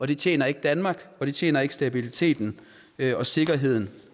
det tjener ikke danmark og det tjener ikke stabiliteten og sikkerheden